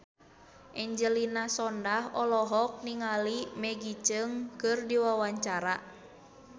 Angelina Sondakh olohok ningali Maggie Cheung keur diwawancara